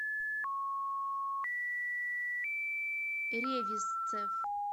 ревизцев